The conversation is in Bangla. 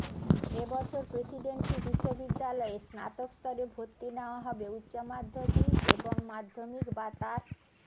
এ বছর প্রেসিডেন্সি বিশ্ববিদ্যালয়ে স্নাতক স্তরে ভর্তি নেওয়া হবে উচ্চ মাধ্যমিক এবং মাধ্যমিক বা তার